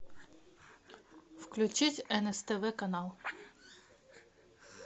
включить нств канал